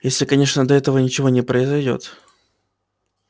если конечно до этого ничего не произойдёт